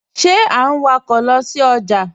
Ṣe à n wọ̀kọ̀ lọ sí ọjà?